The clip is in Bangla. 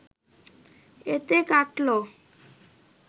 এতে কাটল